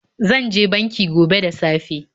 Zan je banki gobe da safe.